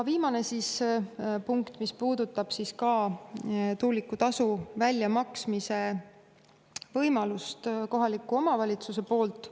Viimane punkt puudutab tuulikutasu väljamaksmise võimalikkust kohaliku omavalitsuse poolt.